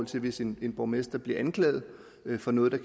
til hvis en borgmester bliver anklaget for noget der